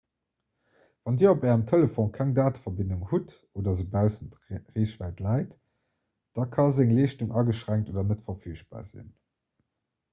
wann dir op ärem telefon keng dateverbindung hutt oder se baussent reechwäit läit da ka seng leeschtung ageschränkt oder net verfügbar sinn